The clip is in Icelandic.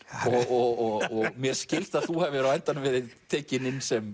og mér skilst að þú hafir á endanum verið tekinn inn sem